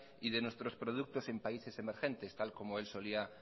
y de nuestros productos en países emergentes tal como él solía